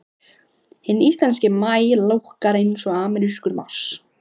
Hinn íslenski maí lúkkar eins og amerískur mars.